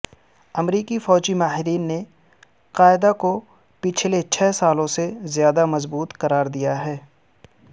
امریکی فوجی ماہرین نے القاعدہ کو پچھلے چھ سالوں سے زیادہ مضبوط قرار دیا ہے